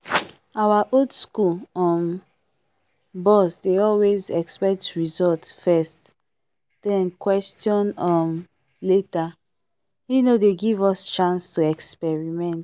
our old school um boss dey always expect result first then question um later. he no dey give us chance to experiment